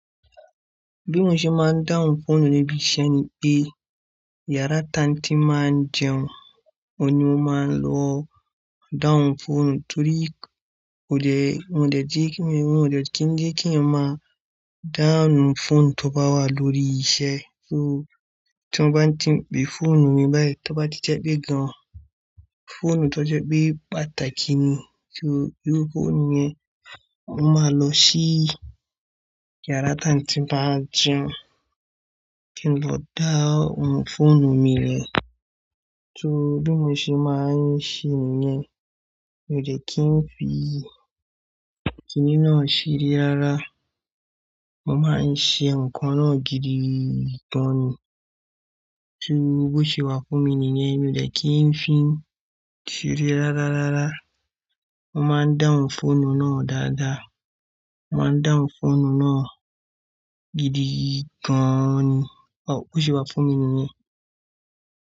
Bí mo ṣe máa ń dahun foonu nibi iṣẹ́ ni pé, yàrá tanti máa ń jẹun, oun ni mo máa lọ dahun fọ̀onu torí kò le, wọ́n dẹ jé kí, wọ́n ò dẹ kí ń jẹ keeyan ma dahun fọ̀nù tó bá wà lórí iṣẹ́. So tí wọ́n bá ń tìbí fọ̀nù mi báyìí, tó bá ti jẹ́ pé gan-an fọ̀nù tó jẹ́ pé pàtàkì ni, so iru fọ̀onù yẹn, mo máa lọ sí yàrá tan ti bá jẹun kí n lọ down fọ̀nù mi rẹ. So bi mó ṣe máa ń ṣe nìyẹn, mi ò de kí n fi kíni náà ṣeré rárá. Mo máa ń ṣe nǹkan náà gidi gan-an ni. So bó ṣe wà fún mi nìyẹn, mi ò de kí n fi ṣeré rárá rárá. Mo máa ń down fọ̀nù náà dáadáa. Mo máa ń dahun fọ̀nù náà gidi gan-an ni. O-- bó ṣe wà fún mi nìyẹn.